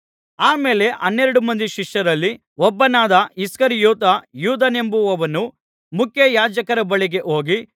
ಆ ಮೇಲೆ ಹನ್ನೆರಡು ಮಂದಿ ಶಿಷ್ಯರಲ್ಲಿ ಒಬ್ಬನಾದ ಇಸ್ಕರಿಯೋತ ಯೂದನೆಂಬುವವನು ಮುಖ್ಯಯಾಜಕರ ಬಳಿಗೆ ಹೋಗಿ